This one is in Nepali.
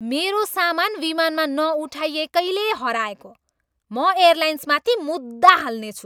मेरो सामान विमानमा नउठाइएकैले हराएको। म एयलाइन्समाथि मुद्दा हाल्नेछु।